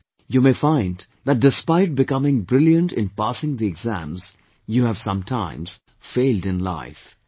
Thus, you may find that despite becoming brilliant in passing the exams, you have sometimes failed in life